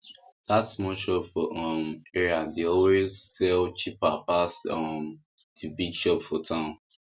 that small shop for um area dey always sell cheaper pass um the big shop for town